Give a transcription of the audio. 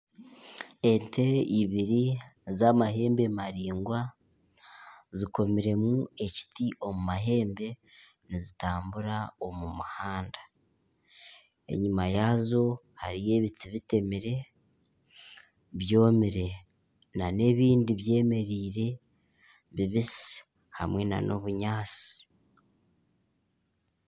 Ente ibiri z'amahembe maraingwa zikomiremu ekiti omu mahembe nizitambura omu muhanda. Enyima yaazo hariyo ebiti bitemire byomire n'ebindi byemereire bibisi hamwe n'obunyaatsi.